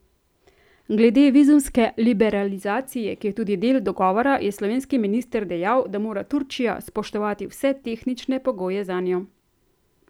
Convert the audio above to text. Glede vizumske liberalizacije, ki je tudi del dogovora, je slovenski minister dejal, da mora Turčija spoštovati vse tehnične pogoje zanjo.